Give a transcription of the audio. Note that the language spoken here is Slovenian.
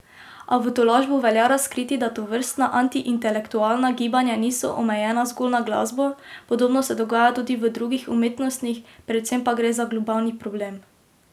A v tolažbo velja razkriti, da tovrstna antiintelektualna gibanja niso omejena zgolj na glasbo, podobno se dogaja tudi v drugih umetnostih, predvsem pa gre za globalni problem.